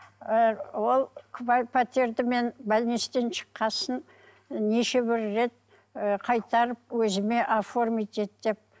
ы ол пәтерді мен шыққан соң ы неше бір рет ы қайтарып өзіме оформить ет деп